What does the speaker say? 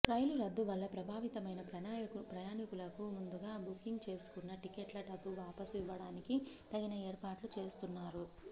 రైలు రద్దు వల్ల ప్రభావితమైన ప్రయాణీకులకు ముందుగా బుకింగ్ చేసుకున్న టిక్కెట్ల డబ్బు వాపసు ఇవ్వడానికి తగిన ఏర్పాట్లు చేస్తున్నారు